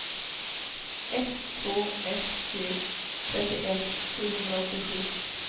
ett två ett tre trettioett sjuhundraåttiosju